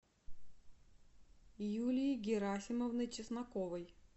юлии герасимовны чесноковой